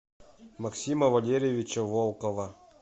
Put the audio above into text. максима валерьевича волкова